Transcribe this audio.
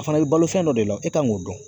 A fana bɛ balo fɛn dɔ de la e kan k'o dɔn